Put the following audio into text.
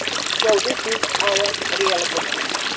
So this is our real opportunity.